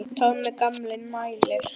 Tommi gamli mælir.